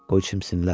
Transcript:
Qoy çimsinlər.